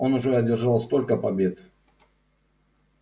он уже одержал столько побед